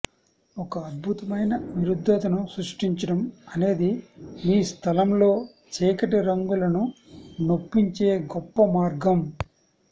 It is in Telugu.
ఒక అద్భుతమైన విరుద్ధతను సృష్టించడం అనేది మీ స్థలంలో చీకటి రంగులను చొప్పించే గొప్ప మార్గం